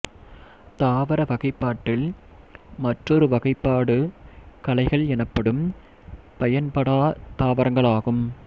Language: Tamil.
தாவர வகைப்பாட்டில் மற்றொரு வகைப்பாடு களைகள் எனப்படும் பயன்படாத் தாவரங்களாகும்